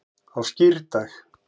á skírdag